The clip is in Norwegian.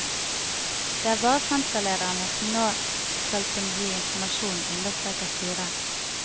Det er bare senterlederne som nå skal kunne gi informasjon, understreker styret.